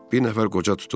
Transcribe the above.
Bir nəfər qoca tutub.